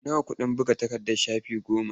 Nawa kuke buga takarda shafi goma.